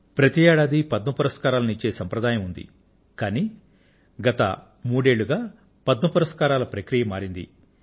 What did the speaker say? ప్రతి ఏడాదీ పద్మ పురస్కారాలను ఇచ్చే సంప్రదాయం ఉంది కానీ గత మూడు సంవత్సరాలుగా పద్మ పురస్కారాల ప్రక్రియ మారింది